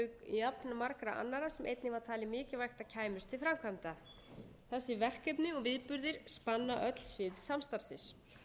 jafnmargra annarra sem einnig var talið mikilvægt að kæmust til framkvæmda þess verkefni og viðburðir spanna öll svið samstarfsins